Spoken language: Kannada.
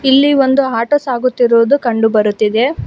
ಇಲ್ಲಿ ಒಂದು ಆಟೋ ಸಾಗುತ್ತಿರುವುದು ಕಂಡು ಬರುತ್ತಿದೆ.